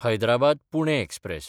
हैदराबाद–पुणे express